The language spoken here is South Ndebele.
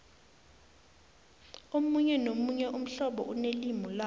omunye nomunye umhlobo unelimu lawo